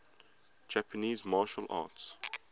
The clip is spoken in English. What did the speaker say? japanese martial arts